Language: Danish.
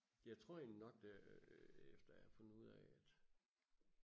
jeg tror egentlig nok øh efter at jeg har fundet ud af at